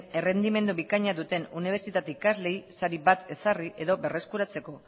errendimendu bikaina duten unibertsitate ikasleei sari bat ezarri edo berreskuratzeko